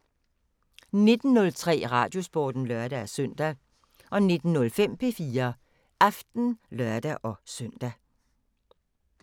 19:03: Radiosporten (lør-søn) 19:05: P4 Aften (lør-søn)